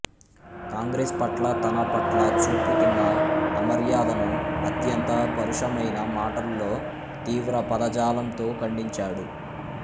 కాంగ్రెస్ పట్ల తన పట్ల చూపుతున్న అమర్యాదను అత్యంత పరుషమైన మాటల్లో తీవ్ర పదజాలంతో ఖండించాడు